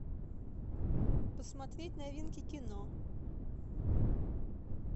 посмотреть новинки кино